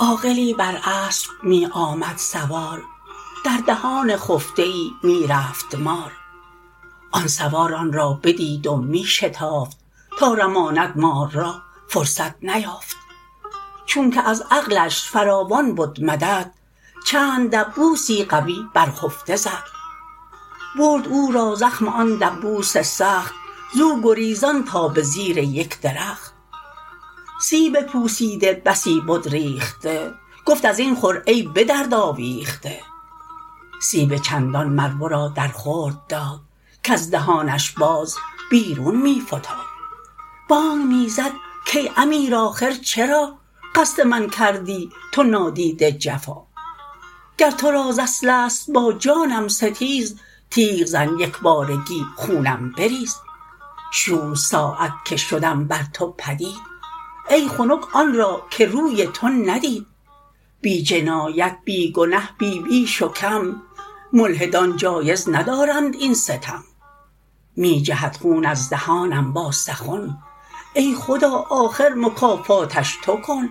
عاقلی بر اسپ می آمد سوار در دهان خفته ای می رفت مار آن سوار آن را بدید و می شتافت تا رماند مار را فرصت نیافت چونکه از عقلش فراوان بد مدد چند دبوسی قوی بر خفته زد برد او را زخم آن دبوس سخت زو گریزان تا به زیر یک درخت سیب پوسیده بسی بد ریخته گفت ازین خور ای به درد آویخته سیب چندان مر ورا در خورد داد کز دهانش باز بیرون می فتاد بانگ می زد کای امیر آخر چرا قصد من کردی تو نادیده جفا گر ترا ز اصل ست با جانم ستیز تیغ زن یکبارگی خونم بریز شوم ساعت که شدم بر تو پدید ای خنک آن را که روی تو ندید بی جنایت بی گنه بی بیش و کم ملحدان جایز ندارند این ستم می جهد خون از دهانم با سخن ای خدا آخر مکافاتش تو کن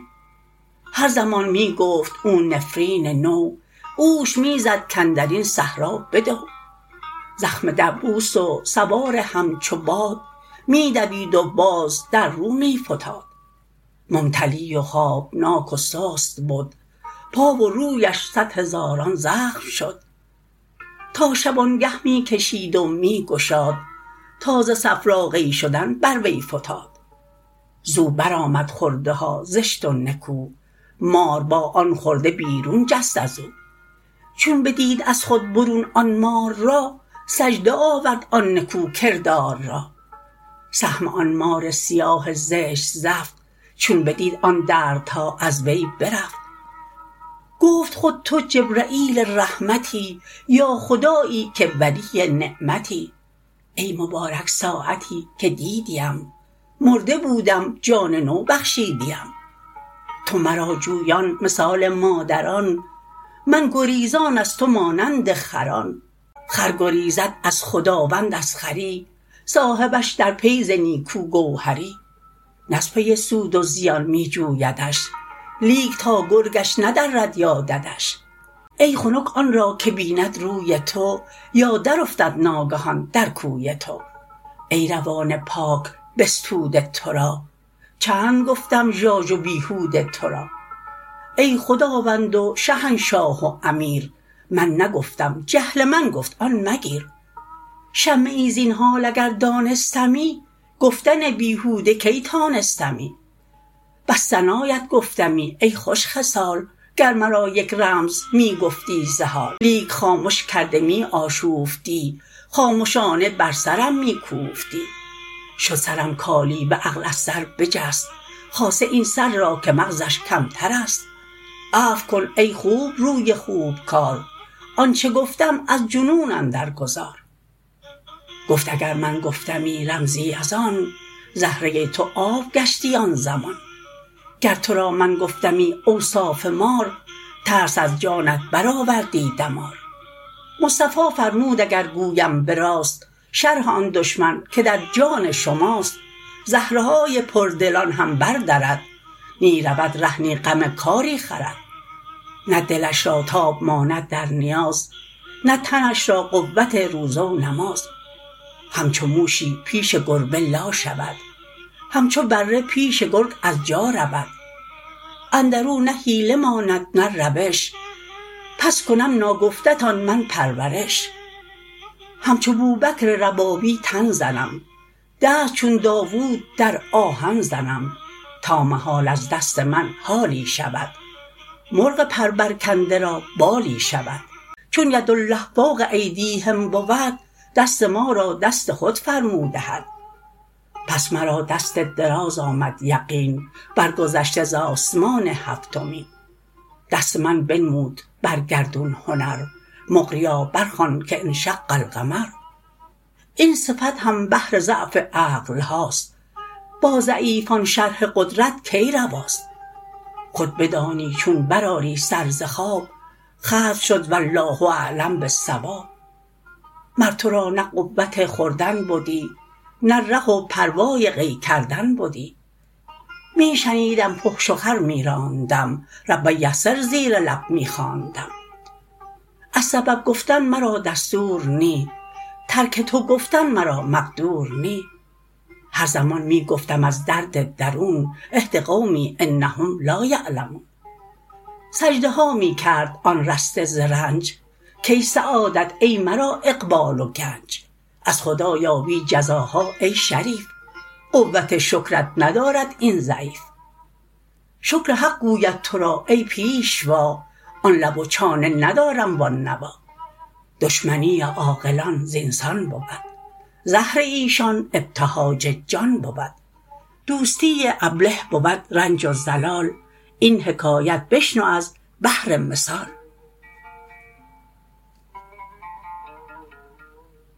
هر زمان می گفت او نفرین نو اوش می زد کاندرین صحرا بدو زخم دبوس و سوار همچو باد می دوید و باز در رو می فتاد ممتلی و خوابناک و سست بد پا و رویش صد هزاران زخم شد تا شبانگه می کشید و می گشاد تا ز صفرا قی شدن بر وی فتاد زو بر آمد خورده ها زشت و نکو مار با آن خورده بیرون جست ازو چون بدید از خود برون آن مار را سجده آورد آن نکو کردار را سهم آن مار سیاه زشت زفت چون بدید آن دردها از وی برفت گفت خود تو جبرییل رحمتی یا خدایی که ولی نعمتی ای مبارک ساعتی که دیدی ام مرده بودم جان نو بخشیدی ام تو مرا جویان مثال مادران من گریزان از تو مانند خران خر گریزد از خداوند از خری صاحبش در پی ز نیکو گوهری نه از پی سود و زیان می جویدش لیک تا گرگش ندرد یا ددش ای خنک آن را که بیند روی تو یا در افتد ناگهان در کوی تو ای روان پاک بستوده تو را چند گفتم ژاژ و بیهوده تو را ای خداوند و شهنشاه و امیر من نگفتم جهل من گفت آن مگیر شمه ای زین حال اگر دانستمی گفتن بیهوده کی تانستمی بس ثنایت گفتمی ای خوش خصال گر مرا یک رمز می گفتی ز حال لیک خامش کرده می آشوفتی خامشانه بر سرم می کوفتی شد سرم کالیوه عقل از سر بجست خاصه این سر را که مغزش کمترست عفو کن ای خوب روی خوب کار آنچه گفتم از جنون اندر گذار گفت اگر من گفتمی رمزی از آن زهره تو آب گشتی آن زمان گر ترا من گفتمی اوصاف مار ترس از جانت بر آوردی دمار مصطفی فرمود اگر گویم به راست شرح آن دشمن که در جان شماست زهره های پردلان هم بر درد نی رود ره نی غم کاری خورد نه دلش را تاب ماند در نیاز نه تنش را قوت روزه و نماز همچو موشی پیش گربه لا شود همچو بره پیش گرگ از جا رود اندرو نه حیله ماند نه روش پس کنم ناگفته تان من پرورش همچو بوبکر ربابی تن زنم دست چون داود در آهن زنم تا محال از دست من حالی شود مرغ پر بر کنده را بالی شود چون یدالله فوق ایدیهم بود دست ما را دست خود فرمود احد پس مرا دست دراز آمد یقین بر گذشته ز آسمان هفتمین دست من بنمود بر گردون هنر مقریا بر خوان که انشق القمر این صفت هم بهر ضعف عقل هاست با ضعیفان شرح قدرت کی رواست خود بدانی چون بر آری سر ز خواب ختم شد والله اعلم بالصواب مر تو را نه قوت خوردن بدی نه ره و پروای قی کردن بدی می شنیدم فحش و خر می راندم رب یسر زیر لب می خواندم از سبب گفتن مرا دستور نی ترک تو گفتن مرا مقدور نی هر زمان می گفتم از درد درون اهد قومی انهم لا یعلمون سجده ها می کرد آن رسته ز رنج کای سعادت ای مرا اقبال و گنج از خدا یابی جزاها ای شریف قوت شکرت ندارد این ضعیف شکر حق گوید ترا ای پیشوا آن لب و چانه ندارم و آن نوا دشمنی عاقلان زین سان بود زهر ایشان ابتهاج جان بود دوستی ابله بود رنج و ضلال این حکایت بشنو از بهر مثال